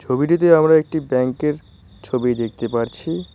ছবিটিতে আমরা একটি ব্যাংক এর ছবি দেখতে পারছি।